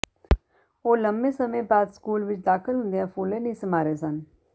ਉਹ ਲੰਮੇ ਸਮੇਂ ਬਾਅਦ ਸਕੂਲ ਵਿੱਚ ਦਾਖ਼ਲ ਹੁੰਦਿਆਂ ਫੁੱਲੇ ਨਹੀਂ ਸਮਾ ਰਹੇ ਸਨ